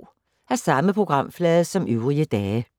Samme programflade som øvrige dage